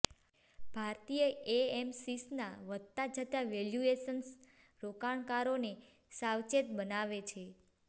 ભારતીય એએમસીસના વધતા જતા વેલ્યુએશન્સ રોકાણકારોને સાવચેત બનાવે છે